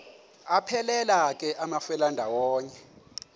aphelela ke amafelandawonye